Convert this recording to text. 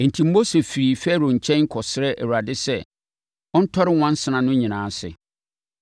Enti, Mose firii Farao nkyɛn kɔsrɛɛ Awurade sɛ, ɔntɔre nwansena no nyinaa ase.